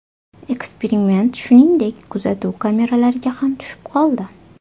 Eksperiment, shuningdek, kuzatuv kameralariga ham tushib qoldi.